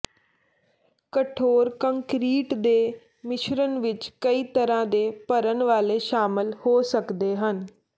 ਕਠੋਰ ਕੰਕਰੀਟ ਦੇ ਮਿਸ਼ਰਣ ਵਿਚ ਕਈ ਤਰ੍ਹਾਂ ਦੇ ਭਰਨ ਵਾਲੇ ਸ਼ਾਮਲ ਹੋ ਸਕਦੇ ਹਨ